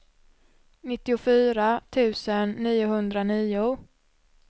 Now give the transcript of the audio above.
nittiofyra tusen niohundranio